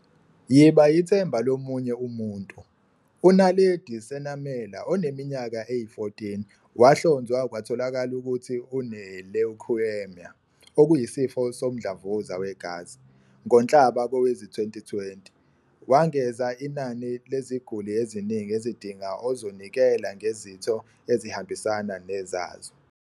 Yiba yithemba lo munye umuntu. U-Naledi Senamela, oneminyaka eyi-14, wahlonzwa kwatholakala ukuthi une-leukaemia, okuyisifo somdlavuza wegazi, ngoNhlaba kowezi-2020. Wengeza inani leziguli eziningi ezidinga ozonikela ngezitho ezihambisana nezazo.